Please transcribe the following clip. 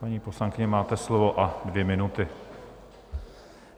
Paní poslankyně, máte slovo a dvě minuty.